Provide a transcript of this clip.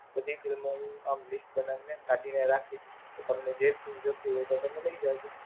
બધી Film નું List બનાવી ને કાઢી ને રાખી તો તમને જે તો તમને લય જાજો.